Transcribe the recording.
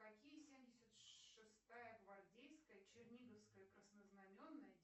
какие семьдесят шестая гвардейская черниговская краснознаменная